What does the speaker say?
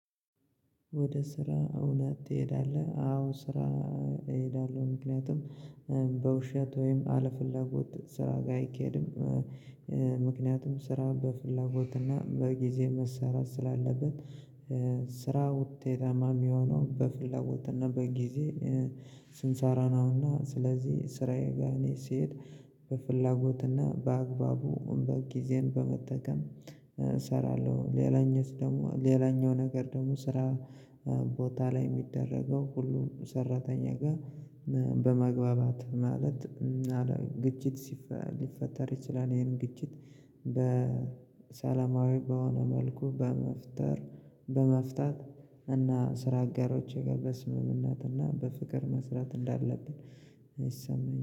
ወደ ስራ እውነት ትሄዳለህ? አዎ ስራ እሄዳለሁ ምክንያቱም በውሸት ወይም አለፍላጎት ስራ ጋር አይኬድም። ምክንያቱም ስራ በፍላጎት እና በጊዜ መሰራት ስላለብን። ስራ ውጤታማ የሚሆነው በፍላጎት እና በጊዜ ስንሰራ ነውና። ስለዚህ ስራዬ ጋር እኔ ስሄድ በፍላጎትና በአግባቡ በ ጊዜን በመጠቀም እሰራለሁ። ሌላኛው ደግሞ ሌላኛው ነገር ደግሞ ስራ ቦታ ላይ የሚደረገው ሁሉም ሰራተኛ ጋር በመግባባት ማለት ግጭት ሊፈጠር ይችላል። ይሄን ግጭት በሰላማዊ በሆነ መልኩ በመፍጠር በመፍታት እና ስራ አጋሮች ጋር በስምምነትና በፍቅር መስራት እንዳለብን ይሰማኛል